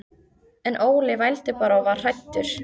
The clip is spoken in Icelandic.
En Óli vældi bara og var hræddur.